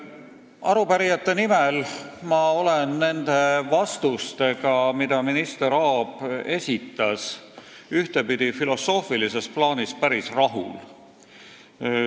Arupärijate nimel ma olen nende vastustega, mis minister Aab andis, filosoofilises plaanis päris rahul.